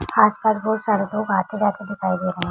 आस पास बोहोत सारे लोग आते-जाते दिखाई दे रहे हैं।